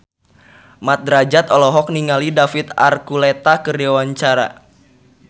Mat Drajat olohok ningali David Archuletta keur diwawancara